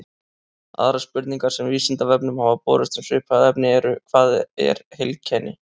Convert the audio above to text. Aðrar spurningar sem Vísindavefnum hafa borist um svipað efni eru: Hvað er heilkenni?